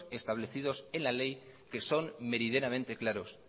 establecidos en la ley que son meridianamente claros